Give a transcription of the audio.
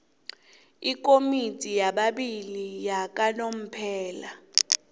ikomiti yababili yakanomphela